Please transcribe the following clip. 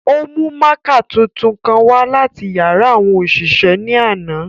O mu mạạkạ tuntun kan wa lati yara awọn oṣiṣẹ ni ánà.